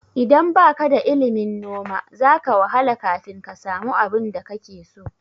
Idan baka da ilimin noma, za ka wahala kafin ka samu abinda kake so.